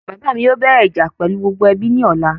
Bàbá mi yóò bẹ́rẹ ìjà pẹlú gbogbo ẹbí ní ọ̀la